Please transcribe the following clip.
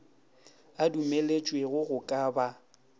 a dumelwetšego go ka ba